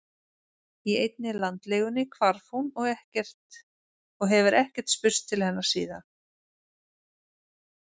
Í einni landlegunni hvarf hún og hefur ekkert spurst til hennar síðan